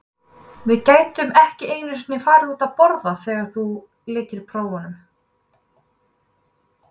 Að við gætum ekki einu sinni farið út að borða þegar þú lykir prófunum.